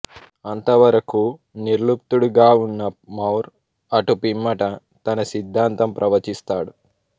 అంతవరకూ నిర్ల్ప్తుడుగా ఉన్న మోర్ అటుపిమ్మట తన సిద్ధాంతం ప్రవచిస్తాడు